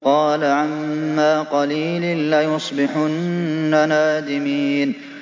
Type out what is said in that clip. قَالَ عَمَّا قَلِيلٍ لَّيُصْبِحُنَّ نَادِمِينَ